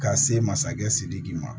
Ka se masakɛ sidiki ma